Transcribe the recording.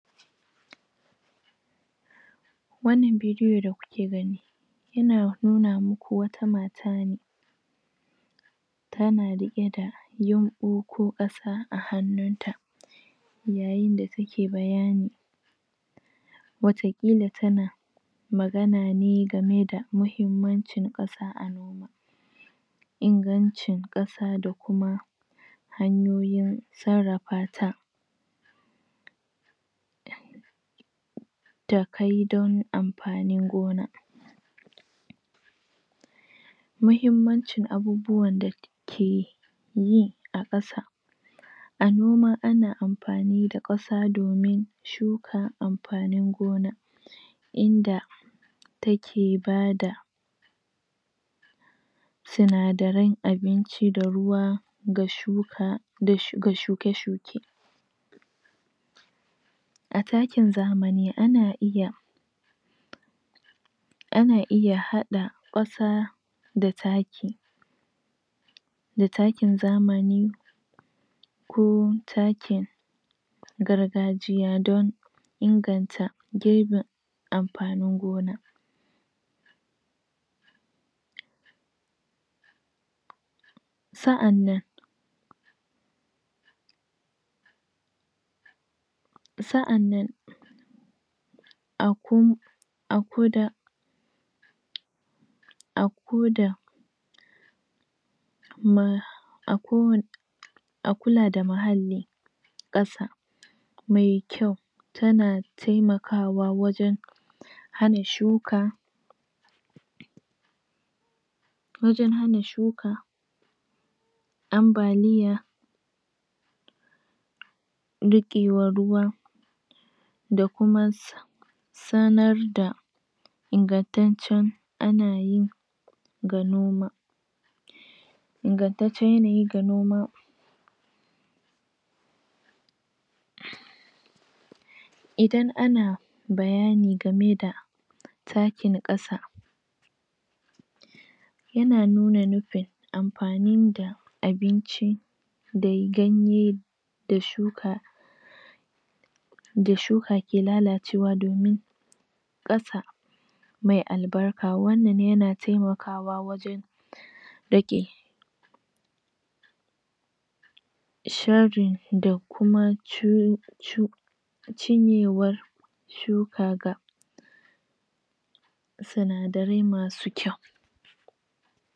wannan bidiyo da kuke gani yana nuna muku wata mata ne tana riqe da yunɓu ko kasa a hannunta yayin da take bayani watakila tana magana ne game da muhimmancin kasa a noma ingancin kasa da kuma hanyoyin sarrafata takai don amfanin gona muhimmancin abubuwan keyi a kasa a noma ana amfani da kasa domin shukan amfanin gona inda take bada sinadarai abinci da ruwa ga shuka da shuke shuke a takin zamani ana iya hada kasa da taki da takin zamani ko takin gargajiya don girbin amfanin gona sa'annan sa'annan? a koda a kula da muhalli kasa mai kyau tana temakawa wajen hana shuka wajen hana shuka ambaliya riqewan ruwan da kuma sanar da ingantaccen anayi ga noma ingantaccen yanayi ga noma idan ana bayani game da takin kasa yana nuna nufin amfanin da abinci da ganye da shuka da shuka ke lalacewa domin kasa mai albaraka wannan yana temakawa wajen rage sharin da kuma cinyewar shuka ga sinadarai masu kyau